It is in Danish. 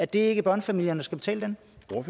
det ikke børnefamilierne der skal betale den